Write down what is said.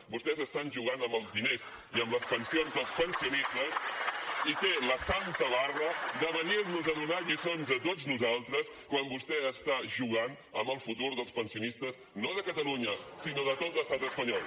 vostès estan jugant amb els diners i amb les pensions dels pensionistes i té la santa barra de venir nos a donar lliçons a tots nosaltres quan vostè està jugant amb el futur dels pensionistes no de catalunya sinó de tot l’estat espanyol